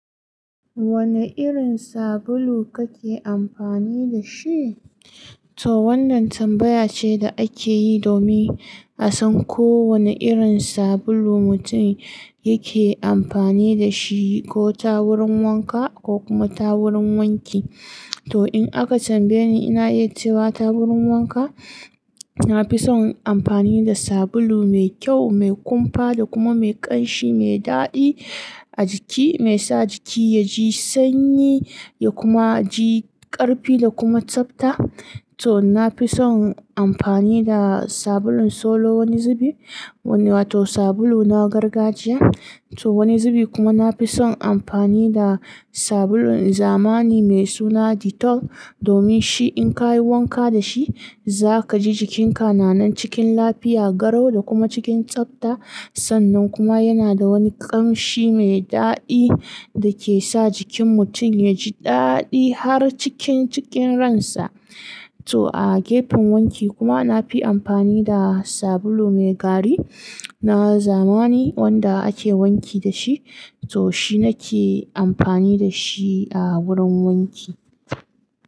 Wane irin sabulu kake amfani da shi? To wannan tambaya ce da ake yi domin a san ko wane irin sabulu mutum yake amfani da shi ko ta wurin wanka ko kuma ta wurin wanki. To in aka tambaye ni, ina iya cewa ta wurin wanka, na fi son amfani da sabulu mai kyau, mai kumfa da kuma mai ƙanshi, mai daɗi a jiki, mai sa jiki ya ji sanyi ya kuma ji ƙarfi da kuma tsabta. To na fi son amfani da sabulun Solo wani zubi, wato sabulu na gargajiya. To wani zubi kuma na fi son amfani da sabulun zamani mai suna Dettol, domin shi in kayi wanka da shi, za ka ji jikinka nanan cikin lafiya, garau da kuma cikin tsabta. Sannan kuma yana da wani ƙanshi mai daɗi da ke sa jikin mutum ya ji daɗi har cikin cikin ransa. To a gefen wanki kuma na fi amfani da sabulu mai gari na zamani wanda ake wanki da shi, to shi nake amfani da shi a wurin wanki.